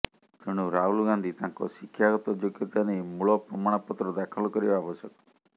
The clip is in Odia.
ତେଣୁ ରାହୁଲ ଗାନ୍ଧୀ ତାଙ୍କ ଶିକ୍ଷାଗତ ଯୋଗ୍ୟତା ନେଇ ମୂଳ ପ୍ରମାଣପତ୍ର ଦାଖଲ କରିବା ଆବଶ୍ୟକ